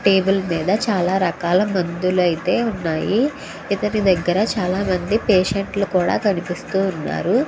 Table మీద చాలా రకాల మందులు అయితే ఉన్నాయి. ఇతని దగ్గర చాలా మంది పేషంట్ లు కూడా కనిపిస్తూ ఉన్నారు.